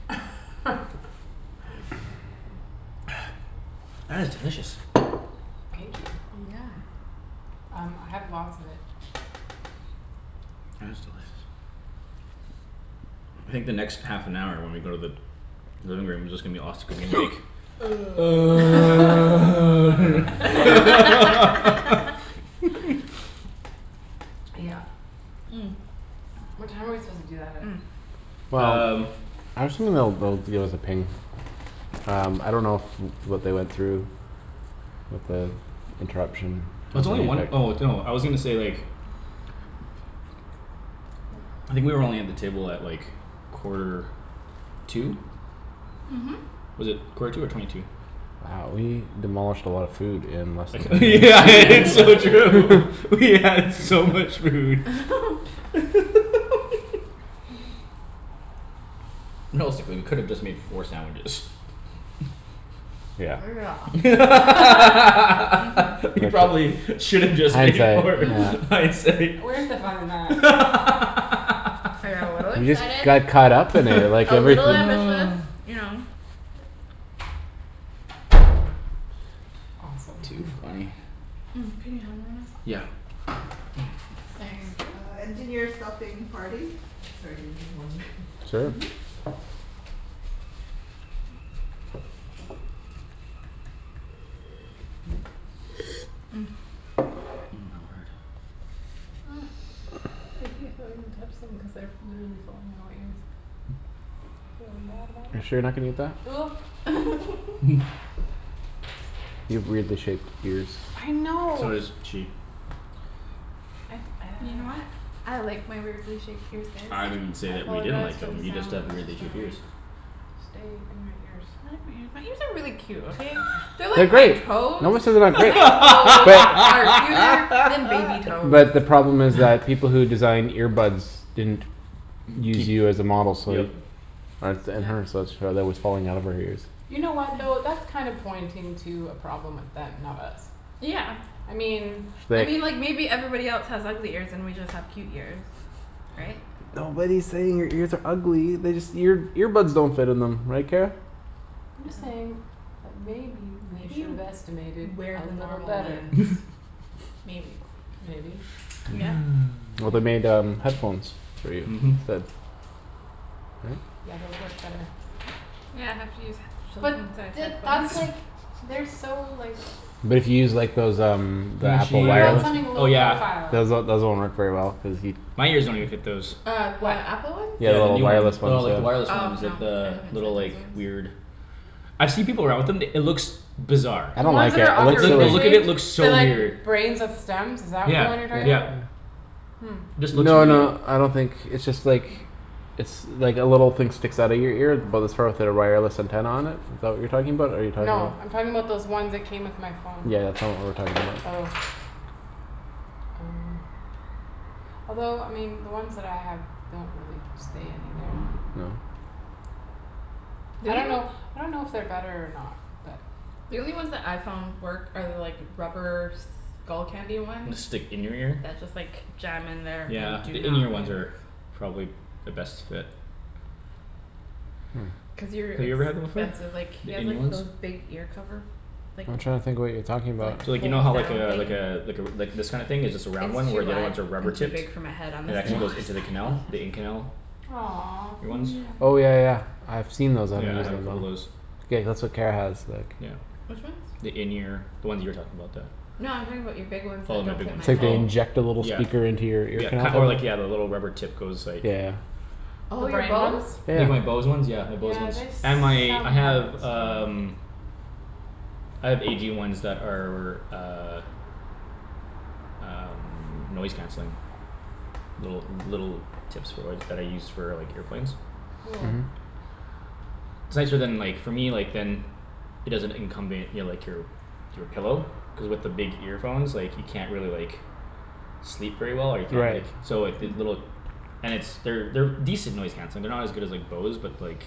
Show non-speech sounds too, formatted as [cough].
[laughs] [noise] That is delicious. Thank you. Yeah Um I have lots of it. That is delicious. I think the next half an hour when we go to the living room is just gonna be us gonna be like [noise] [noise] [laughs] [laughs] [laughs] Yeah [noise] What time are we supposed to do that at? [noise] Um Well I actually dunno if they'll give us a ping. Um I don't know if what they went through With the interruption In It's only one there. oh no I was gonna say like I think we were only at the table at like quarter to Mhm Was it quarter to or twenty to? Wow we demolished a lot of food in less than [laughs] [inaudible] It's so [laughs] [laughs] true. We had so much food [laughs] [laughs] [noise] Realistically we could've just made four sandwiches. Yeah Yeah [laughs] We [laughs] Mhm [inaudible] probably should've just Hindsight made four yeah Mhm hindsight. Where's the fun in that? I got a little We just excited. got caught up in it like A everything little ambitious, [laughs] you know. Awesome. Too funny. [noise] Can you me hand one o' Yeah. Thank you. [noise] my word. [laughs] So does she. I didn't say that we didn't like them. You just have weirdly shaped ears. They are great. [inaudible] [laughs] But the problem is like people who designed ear buds didn't Use Keep you as a model yep so [laughs] [noise] [inaudible] headphones Mhm that But to use like those um [inaudible] Then Those she um uh oh yeah. those one worked very well cuz My ears don't even fit those. Yeah the new ones. No like the wireless ones [inaudible] like the little like weird I've see people around with them it looks Bizarre. Like the look of it looks so weird. Yeah yep. Just looks really uh And stick in your ear? Yeah the in ear ones are probably the best fit. Have you ever had them before? The in ear ones? So like you know how like uh like uh like this kinda thing is just a round one where the other ones are rubber tipped? And actually goes into the canal? The in canal? Ear ones? Yeah I have a couple o' those. Yeah. The in ear. The ones you were talking about that Oh my big ones oh Yeah yeah ki- or like yeah the rubber tip goes like Like my Bose ones yeah my Bose ones and my I have um I have A G ones that are uh Um noise canceling. Little little tips for work that I use for like airplanes. It's nicer than like for me like than It doesn't incumbent your like your Your pillow. Cuz with your big earphones like you can't really like Sleep very well or you can't like so if they little And it's they're they're decent noise canceling. They're not as good as like Bose but like